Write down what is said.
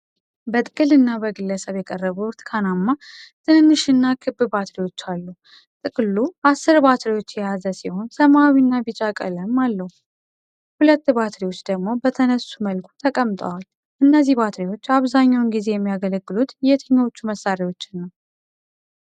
በጥቅል እና በግለሰብ የቀረቡ ብርቱካናማ፣ ትንንሽና ክብ ባትሪዎች አሉ። ጥቅሉ አሥር ባትሪዎች የያዘ ሲሆን፣ ሰማያዊና ቢጫ ቀለም አለው። ሁለት ባትሪዎች ደግሞ በተነሱ መልኩ ተቀምጠዋል። እነዚህ ባትሪዎች አብዛኛውን ጊዜ የሚያገለግሉት የትኞቹ መሣሪያዎችን ነው?